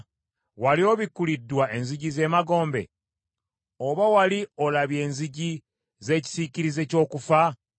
Wali obikuliddwa enzigi z’emagombe? Oba wali olabye enzigi z’ekisiikirize ky’okufa?